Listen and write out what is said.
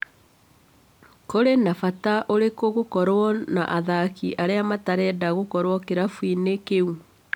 Kũrĩ na bata ũrĩkũ gũkorwo na athaki arĩa matarenda gũkorwo kĩrabu-inĩ kĩu?